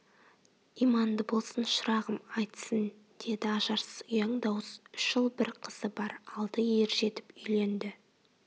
иманды болсын шырағым айтсын деді ажарсыз ұяң дауыс үш ұл бір қызы бар алды ержетіп үйленді